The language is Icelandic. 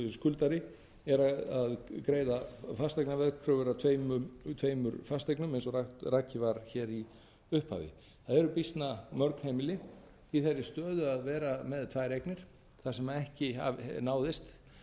skuldari er að greiða fasteignaveðkröfur af tveimur fasteignum eins og rakið var hér í upphafi það eru býsna mörg heimili í þeirri stöðu að vera með tvær eignir þar sem ekki náðist